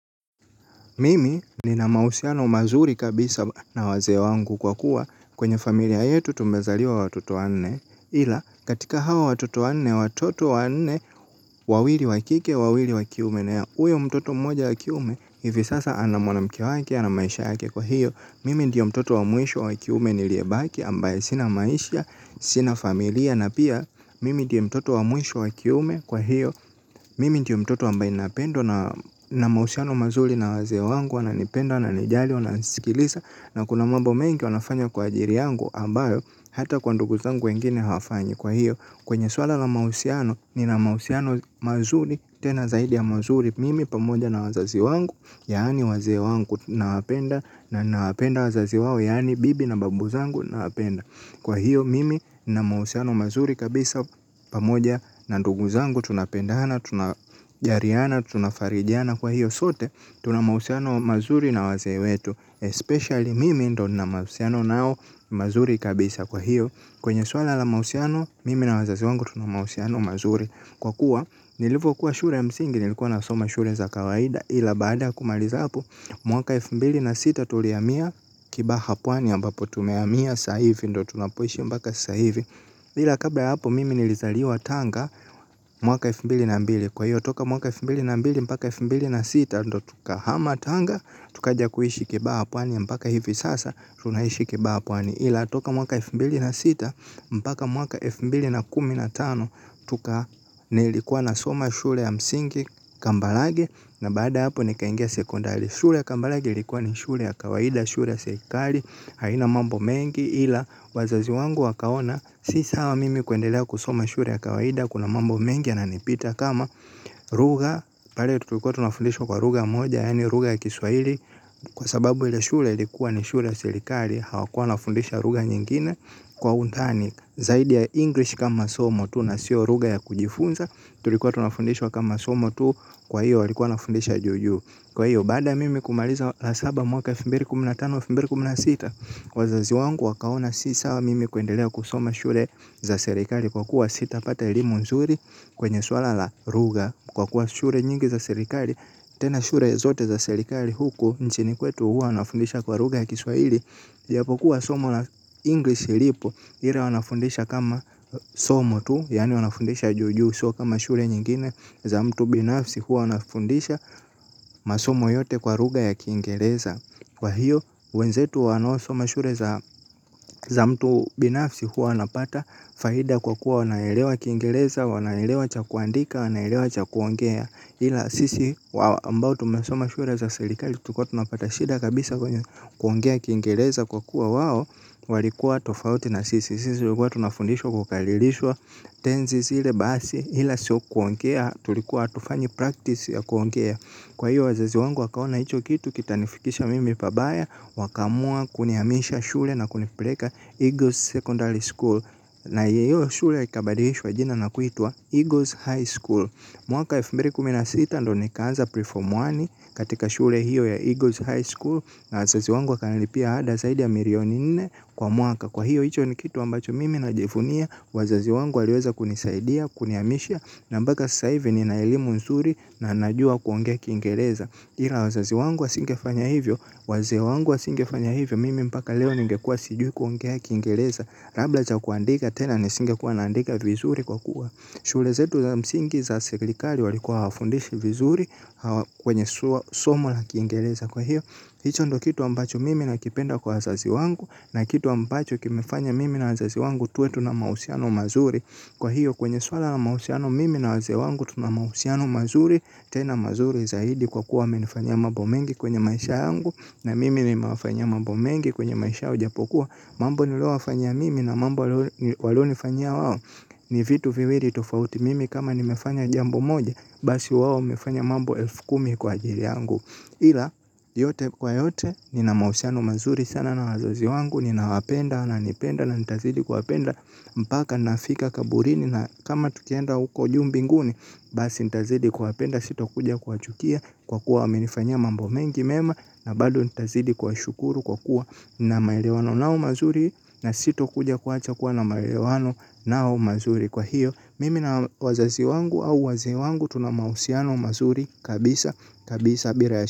Mimi nina mahusiano mazuri kabisa na wazee wangu kwa kuwa kwenye familia yetu tumezaliwa watoto wanne. Ila katika hawa watoto wanne, watoto wanne, wawili wa kike, wawili wa kiume na huyo mtoto mmoja wa kiume hivi sasa. Ana mwanamke wake, ana maisha yake kwa hiyo. Mimi ndiyo mtoto wa mwisho wa kiume niliye baki ambaye sina maisha, sina familia. Na pia mimi ndiyo mtoto wa mwisho wa kiume kwa hiyo. Mimi ndiyo mtoto ambaye napendwa. Nina mahusiano mazuri na wazee wangu. Wananipenda wananijali wananisikilisa. Na kuna mambo mengi wanafanya kwa ajili yangu ambayo hata kwa nduguzangu wengine hawafanyi. Kwa hiyo kwenye swala la mahusiano nina mahusiano mazuri tena zaidi ya mazuri. Mimi pamoja na wazazi wangu yaani wazee wangu nawapenda. Nawapenda wazazi wao. Yaani bibi na babu zangu nawapenda. Kwa hiyo mimi nina mahusiano mazuri kabisa pamoja na ndugu zangu. Tunapendana, tunajaliana, tunafarijiana. Kwa hiyo sote, tuna mahusiano mazuri na wazee wetu Especially mimi ndo nina mahusiano nao mazuri kabisa kwa hiyo. Kwenye swala la mahusiano, mimi na wazazi wangu tuna mahusiano mazuri. Kwa kuwa, nilivyokuwa shule ya msingi, nilikuwa nasoma shule za kawaida ila baada kumaliza hapo, mwaka elfu mbili na sita tulihamia Kibaha pwani ambapo tumehamia saa hivi, ndo tunapoishi mpaka saa hivi. Ila kabla ya hapo mimi nilizaliwa tanga mwaka wa elfu mbili na mbili. Kwa hiyo toka mwaka wa elfu mbili na mbili mpaka wa elfu mbili na sita. Ndo tukahama tanga tukaja kuishi Kibaha pwani mpaka hivi sasa. Tunaishi kibaha pwani. Ila toka mwaka elfu mbili na sita mpaka mwaka elfu mbili na kumi na tano. Tuka nilikuwa nasoma shule ya msingi kambalage. Na baada ya hapo nikaingia sekondari. Shule ya kambalage likuwa ni shule ya kawaida shule ya serikali haina mambo mengi ila wazazi wangu wakaona si sawa mimi kuendelea kusoma shule ya kawaida kuna mambo mengi yananipita kama lugha pale tutulikuwa tunafundishwa kwa lugha moja yaani lugha ya kiswahili kwa sababu ile shule ilikuwa ni shule ya serikali hawakuwa wanafundisha lugha nyingine kwa undani zaidi ya english kama somo tu na sio lugha ya kujifunza tulikuwa tunafundishwa kama somo tu kwa hiyo walikuwa wanafundisha juujuu kwa hiyo baada ya mimi kumaliza la saba mwaka elfu mbili kumi na tano elfu mbili kumi na sita wazazi wangu wakaona si sawa mimi kuendelea kusoma shule za serikali kwa kuwa sitapata elimu mzuri kwenye swala la lugha kwa kuwa shule nyingi za serikali tena shule zote za serikali huku nchini kwetu huwa wanafundisha kwa lugha ya kiswaili japokuwa somo la english lipo ila wanafundisha kama somo tu yaani wanafundisha juujuu sio kama shule nyingine za mtu binafsi huwa wanafundisha masomo yote kwa lugha ya kiingereza. Kwa hiyo wenzetu wanaosoma shule za za mtu binafsi huwa wanapata faida kwa kuwa wanaelewa kiingereza, wanaelewa cha kuandika wanaelewa cha kuongea. Ila sisi ambao tumesoma shule za serikali tulikuwa tunapata shida kabisa kwenye kuongea kiingereza kwa kuwa wao walikuwa tofauti na sisi. Sisi tulikuwa tunafundishwa kukalilishwa tenzi zile basi ila sio kuongea tulikuwa hatufanyi practice ya kuongea kwa hiyo wazazi wangu wakaona hicho kitu kitanifikisha mimi pabaya wakaamua kunihamisha shule na kunipeleka Eagles Secondary School. Na hiyo shule ikabadilishwa jina na kuitwa Eagles High School. Mwaka wa elfu mbili kumi na site ndo nikaanza pre form one katika shule hiyo ya Eagles High School. Na wazazi wangu wakanilipia ada zaidi ya milioni nne kwa mwaka. Kwa hiyo hicho ni kitu ambacho mimi najivunia wazazi wangu waliweza kunisaidia kunihamisha. Na mpaka sasa hivi nina elimu nzuri na najua kuongea kiingereza. Ila wazazi wangu wasingefanya hivyo, wazee wangu wasingefanya hivyo, mimi mpaka leo ningekuwa sijui kuongea kiingereza, labda cha kuandika tena nisingekuwa naandika vizuri kwa kuwa shule zetu za msingi za serikali walikuwa hawafundishi vizuri kwenye somo la kiingereza kwa hiyo. Hicho ndo kitu ambacho mimi nakipenda kwa wazazi wangu na kitu ambacho kimefanya mimi na wazazi wangu tuwe tuna mahusiano mazuri. Kwa hiyo kwenye swala na mahusiano mimi na wazee wangu tuna mahusiano mazuri tena mazuri zaidi kwa kuwa wamenifanya mambo mengi kwenye maisha yangu na mimi nimewafanya mambo mengi kwenye maisha yao ijapokuwa mambo nililowafanya mimi na mambo walionifanyia wao ni vitu viwili tofauti mimi kama nimefanya jambo moja basi wao wamefanya mambo elfu kumi kwa ajili yangu. Ila yote kwa yote nina mahusiano mazuri sana na wazazi wangu ninawapenda wananipenda na nitazidi kuwapenda mpaka nafika kaburini na kama tukienda huko juu mbinguni basi nitazidi kuwapenda sitakuja kuwachukia kwa kuwa wamenifanyia mambo mengi mema na bado nitazidi kuwashukuru kwa kuwa nina maelewano nao mazuri na sitokuja kuacha kuwa na maelewano nao mazuri kwa hiyo. Mimi na wazazi wangu au wazee wangu tuna mahusiano mazuri kabisa kabisa bila.